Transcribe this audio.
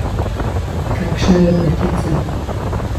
Kakšna lepotica!